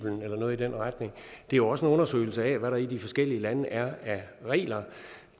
eller noget i den retning det er også en undersøgelse af hvad der i de forskellige lande er af regler